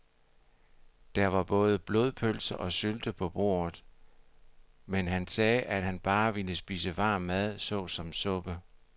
Der var både blodpølse og sylte på bordet, men han sagde, at han bare ville spise varm mad såsom suppe.